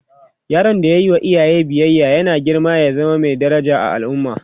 yaron da ya Yi wa iyaye biyaya yana girma ya zama Mai daraja a al'umma